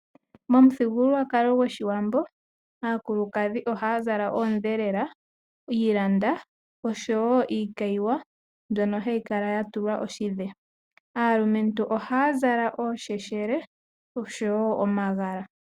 Momuthigululwakalo gOshiwambo aakulukadhi ohaa zala oondhelela, iimona oshowo iikayiwa mbyono hayi kala ya tulwa oshidhe. Aalumentu ohaya zala oosheshele oshowo omagala.